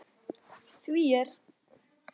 Því er